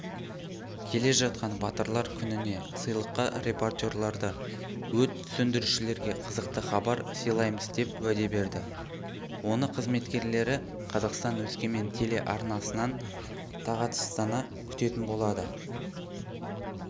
келе жатқан батырлар күніне сыйлыққа репортерлары өрт сөндірушілерге қызықты хабар сыйлаймыз деп уәде берді оны қызметкерлері қазақстан-өскемен телеарнасынан тағатсыздана күтетін болады